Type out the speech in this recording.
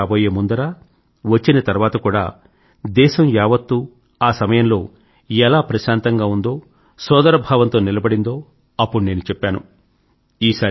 నిర్ణయం రాబోయే ముందర వచ్చిన తర్వాత కూడా దేశం యావత్తు ఆ సమయంలో ఎలా ప్రశాంతంగా ఉందో సోదరభావంతో నిలబడిందో అప్పుడు నేను చెప్పాను